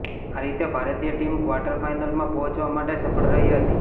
આ રીતે ભારતીય ટીમ ક્વાર્ટર ફાઈનલમાં પહોંચવા માટે સફળ રહી હતી